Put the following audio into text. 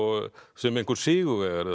sem einhver sigurvegari